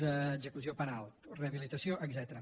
d’execució penal rehabilitació etcètera